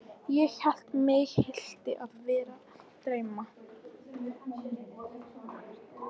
Ég hélt mig hlyti að vera að dreyma.